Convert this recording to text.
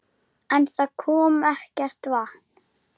En það kom ekkert vatn.